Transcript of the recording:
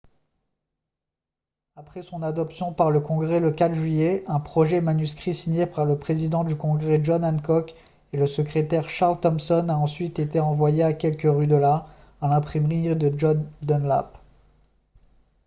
après son adoption par le congrès le 4 juillet un projet manuscrit signé par le président du congrès john hancock et le secrétaire charles thomson a ensuite été envoyé à quelques rues de là à l'imprimerie de john dunlap